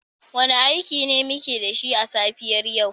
Wane aiki ne muke da shi a safiyar yau?